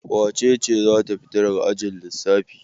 Wace ce za ta fita daga ajin lissafi?